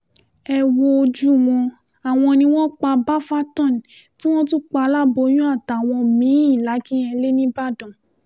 ẹ wojú wọn àwọn ni wọ́n pa bafatán tí wọ́n tún pa aláboyún àtàwọn mí-ín làkínyẹ̀lẹ̀ nìbàdàn